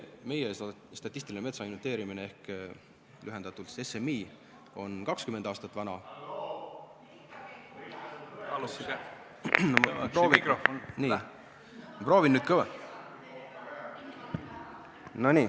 Meie statistiline metsainventeerimine ehk SMI on 20 aastat vana.